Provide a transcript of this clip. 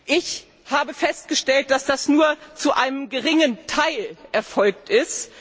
Ich habe festgestellt, dass das nur zu einem geringen Teil erfolgt ist.